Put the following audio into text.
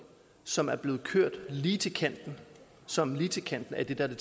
som er blevet kørt lige til kanten som er lige til kanten af det der er